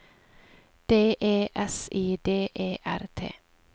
D E S I D E R T